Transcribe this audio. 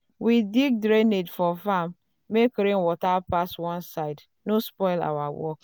we dig drainage for farm make rainwater pass one side no spoil our work. um